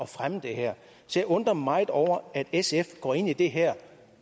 fremme det her så jeg undrer mig meget over at sf går ind i det her